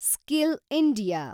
skill India